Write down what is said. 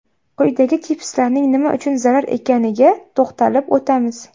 Quyida chipslarning nima uchun zarar ekaniga to‘xtalib o‘tamiz.